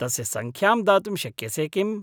तस्य सङ्ख्यां दातुं शक्य से किम्‌?